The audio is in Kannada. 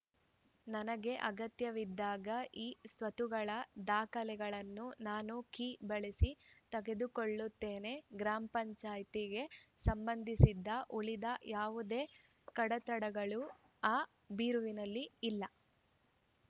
ನನಗೆ ಅಗತ್ಯವಿದ್ದಾಗ ಇಸ್ವತ್ತುಗಳ ದಾಖಲೆಗಳನ್ನು ನಾನು ಕೀ ಬಳಸಿ ತೆಗೆದುಕೊಳ್ಳುತ್ತೇನೆ ಗ್ರಾಮ ಪಂಚಾಯಿತಿಗೆ ಸಂಬಂಧಿಸಿದ ಉಳಿದ ಯಾವುದೇ ಕಡತಗಳು ಆ ಬೀರುವಿನಲ್ಲಿ ಇಲ್ಲ